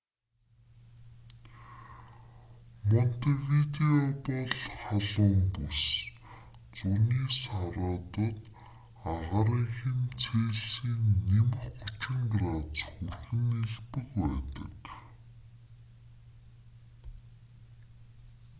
монтевидео бол халуун бүс зуны саруудад агаарын хэм цельсийн +30 градус хүрэх нь элбэг байдаг